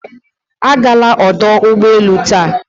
Agala ọdụ ụgbọ elu taa!